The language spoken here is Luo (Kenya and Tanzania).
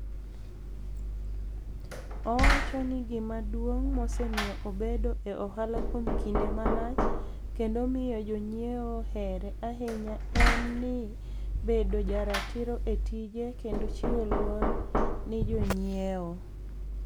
Owacho nii gima duonig ' mosemiyo obedo e ohala kuom kinide malach kenido miyo joniyiewo here ahiniya eni bedo jaratiro e tije kenido chiwo luor ni e joniyiewo.